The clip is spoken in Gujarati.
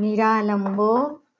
નિરાલંબો